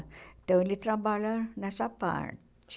Então, ele trabalha nessa parte.